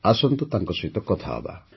ଆସନ୍ତୁ ତାଙ୍କ ସହିତ କଥା ହେବା